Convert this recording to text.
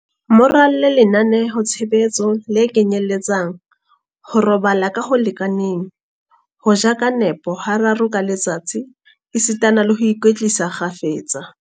Mo ralle lenaneo-tshebetso le kenyeletsang, ho robala ka ho lekaneng, ho ja ka nepo hararo ka letsatsi esitana le ho ikwetlisa kgafetsa.